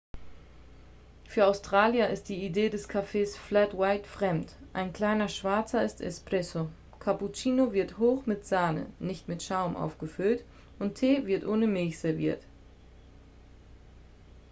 "für australier ist die idee des kaffees "flat white" fremd. ein kleiner schwarzer ist "espresso" cappuccino wird hoch mit sahne nicht mit schaum aufgefüllt und tee wird ohne milch serviert.